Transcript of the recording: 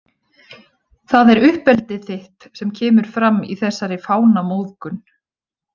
Það er uppeldið þitt sem kemur fram í þessari fánamóðgun.